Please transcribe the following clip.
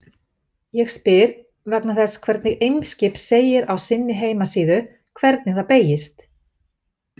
Ég spyr vegna þess hvernig Eimskip segir á sinni heimasíðu hvernig það beygist.